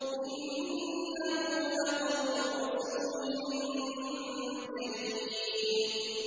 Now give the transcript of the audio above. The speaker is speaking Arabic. إِنَّهُ لَقَوْلُ رَسُولٍ كَرِيمٍ